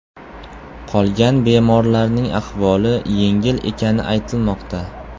Qolgan bemorlarning ahvoli yengil ekani aytilmoqda.